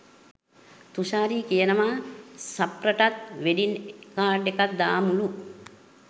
තුෂාරි කියනවා සෆ්රටත් wedding card එකක් දාමුලු.